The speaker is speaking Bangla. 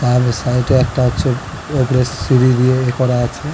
আর সাইড এ একটা হচ্ছে ওদে সিঁড়ি দিয়ে ই করা আছে --